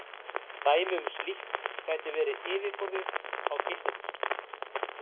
Dæmi um slíkt gæti verið yfirborðið á geisladiski.